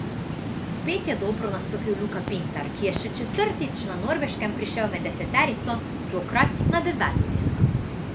Spet je dobro nastopil Luka Pintar, ki je še četrtič na Norveškem prišel med deseterico, tokrat na deveto mesto.